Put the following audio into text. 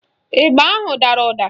Ịgba ahụ adara ụda?